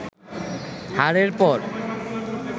হারের পর